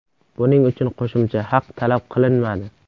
Buning uchun qo‘shimcha haq talab qilinmadi.